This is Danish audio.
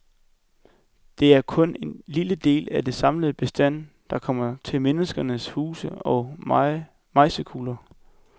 Det er kun en lille del af den samlede bestand, der kommer til menneskenes huse og mejsekugler.